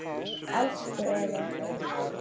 Elsku Eva